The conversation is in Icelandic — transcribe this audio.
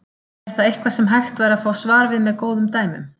Er það eitthvað sem væri hægt að fá svar við með góðum dæmum.